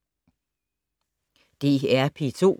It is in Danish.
DR P2